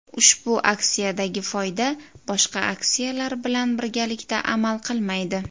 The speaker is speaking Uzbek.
Ushbu aksiyadagi foyda boshqa aksiyalar bilan birgalikda amal qilmaydi.